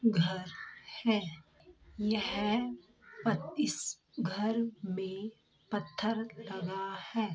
घर है यह पत-इस घर मे पत्थर लगा है ।